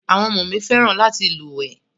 Àwọn ọmọ mi fẹ́ràn láti lúwèé.